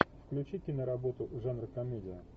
включи киноработу жанра комедия